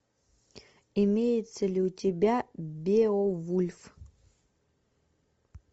имеется ли у тебя беовульф